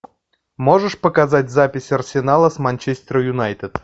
можешь показать запись арсенала с манчестер юнайтед